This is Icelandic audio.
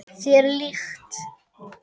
Þér líkt.